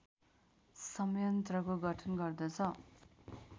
संयन्त्रको गठन गर्दछ